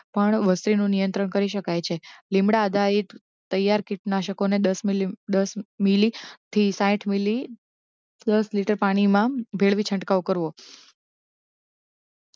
પણ વસ્તીનું નિયંત્રણ કરી શકાય છે લિમડાં આધારિત તૈયાર કીટનાશકોને દસ મિલીય દસ મિલી થી સાહીઠ મિલી દસ લિટર પાણીમાં ભેળવી છંટકાવ કરવો